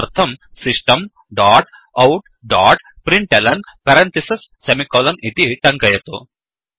तदर्थं Systemसिस्टम् डोट् outऔट् डोट् printlnइति टङ्कयतु